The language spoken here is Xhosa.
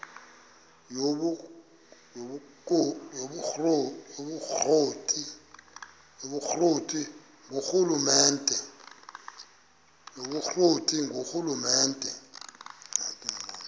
yobukro ti ngurhulumente